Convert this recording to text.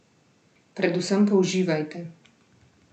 Predvsem pa uživajte!